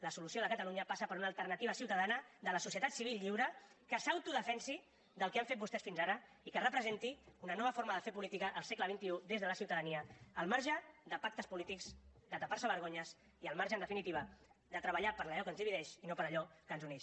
la solució de catalunya passa per una alternativa ciutadana de la societat civil lliure que s’autodefensi del que han fet vostès fins ara i que representi una nova forma de fer política en el segle xxi des de la ciutadania al marge de pactes polítics de tapar se vergonyes i al marge en definitiva de treballar per allò que ens divideix i no per allò que ens uneix